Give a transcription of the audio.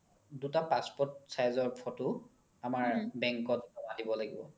দুটা passport size ৰ photo আমাৰ bank ত য্মা দিব লাগিব